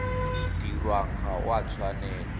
dirwang ga o a tshwanela